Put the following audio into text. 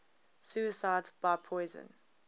suicides by poison